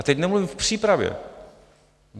A teď nemluvím k přípravě.